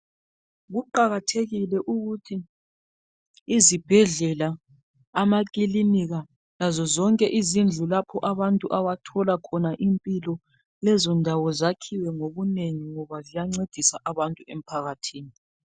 Kuqakathekile ukuthi izibhedlela amakilinika lazo zonke izindlu lapho abantu abathola khona impilo lezondawo zakhiwe ngobunengi ngoba ziyancedisa abantu emphakathini